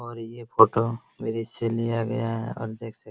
और ये photo bridge से लिया गया है और देख सक --